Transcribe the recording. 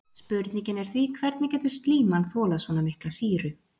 Spurningin er því hvernig getur slíman þolað svona mikla sýru?